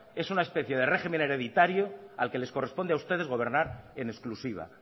es una especie de régimen hereditario al que les corresponde a ustedes gobernar en exclusiva